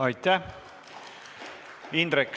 Aitäh!